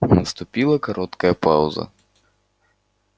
наступила короткая пауза